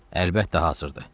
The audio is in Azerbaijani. "Əlbəttə, hazırdır."